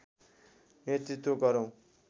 नेतृत्व गरौं